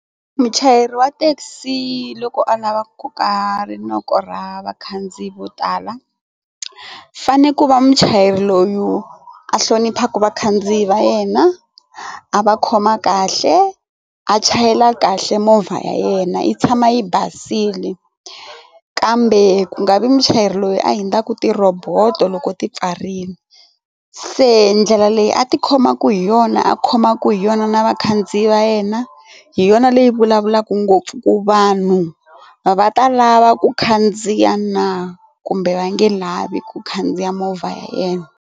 Muchayeri wa thekisi loko a lava ku koka rinoko ra vakhandziyi vo tala fane ku va muchayeri loyu a hloniphaka vakhandziyi va yena a va khoma kahle a chayela kahle movha ya yena yi tshama yi basile kambe ku nga vi muchayeri loyi a hundzaku ti roboto loko ti pfarile se ndlela leyi a tikhoma ku hi yona yona a khomaka hi yona na vakhandziyi va yena hi yona leyi vulavulaka ngopfu ku vanhu va ta lava ku khandziya na kumbe va nge lavi ku khandziya movha ya yena.